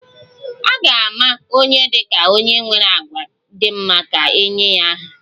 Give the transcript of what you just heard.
A ga-ama onye dị ka onye nwere àgwà dị mma ka e nye ya aha